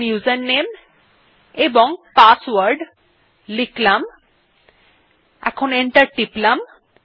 এখন ইউজারনেম এবং পাসওয়ার্ড লিখলাম এবং এন্টার টিপলাম